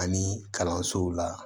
Ani kalansow la